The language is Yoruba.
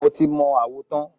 Mo ti mọ àwo tán.